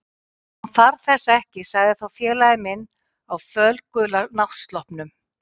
Hún þarf þessa ekki sagði þá félagi minn á fölgula náttsloppnum.